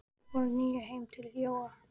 Þeir fóru nú heim til Jóa.